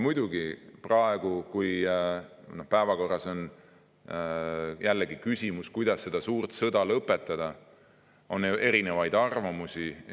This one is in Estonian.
Muidugi, praegu, kui päevakorras on jällegi küsimus, kuidas seda suurt sõda lõpetada, on ju erinevaid arvamusi.